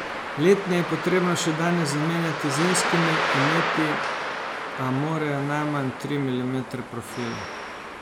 Letne je potrebno še danes zamenjati z zimskimi, imeti a morajo najmanj tri milimetre profila.